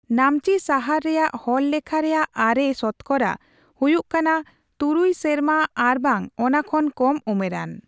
ᱱᱟᱢᱪᱤ ᱥᱟᱦᱟᱨ ᱨᱮᱭᱟᱜ ᱦᱚᱲᱞᱮᱠᱷᱟ ᱨᱮᱭᱟᱜ ᱟᱨᱮ ᱥᱚᱛᱚᱠᱚᱨᱟ ᱦᱩᱭᱩᱜ ᱠᱟᱱᱟ ᱛᱩᱨᱩᱭ ᱥᱮᱨᱢᱟ ᱟᱨᱵᱟᱝ ᱚᱱᱟ ᱠᱷᱚᱱ ᱠᱚᱢ ᱩᱢᱮᱨᱟᱱ ᱾